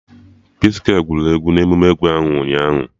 P-skwe gụrụ egwu na emume egwu ahụ ụnyaahụ